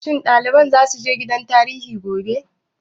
Shin ɗaliban za su je gidan tarihi gobe?